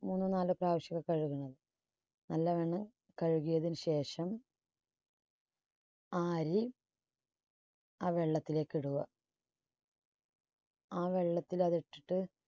മൂന്നോ നാലോ പ്രാവശ്യം ഒക്കെ കഴുകുന്നത്. നല്ല വണ്ണം കഴുകിയതിന് ശേഷം ആ അരി ആ വെള്ളത്തിലേക്ക് ഇടുക. ആ വെള്ളത്തിൽ അത് ഇട്ടിട്ടു